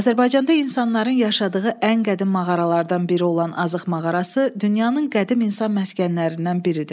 Azərbaycanda insanların yaşadığı ən qədim mağaralardan biri olan Azıq mağarası dünyanın qədim insan məskənlərindən biridir.